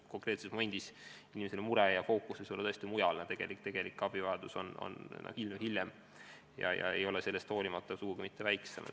Konkreetsel momendil on inimese mure tohutu ja fookus tõesti mujal, tegelik abivajadus võib tekkida hiljem ega olla sugugi mitte väiksem.